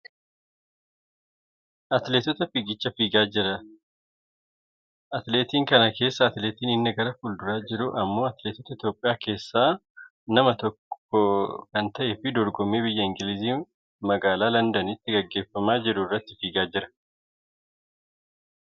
atileetota fiigicha fiigaa jira, atileetiin kana keesssaa atileetii inni gara fuulduraa jiru ammoo atileetota Itoopiyaa keessaa keessaa nama tokkko kan ta'eefi dorgommii biyya Ingilizii magaa londinitti gaggeeffama irratti fiigaa jira.